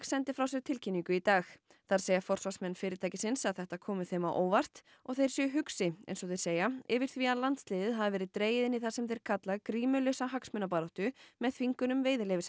sendi frá sér tilkynningu í dag þar segja forsvarsmenn fyrirtækisins að þetta komi þeim á óvart og þeir séu hugsi eins og þeir segja yfir því að landsliðið hafi verið dregið inn í það sem þeir kalla grímulausa hagsmunabaráttu með þvingunum